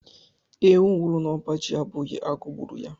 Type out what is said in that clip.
Ewu nwụrụ n'ọba ji abụghị agụụ gburu ya.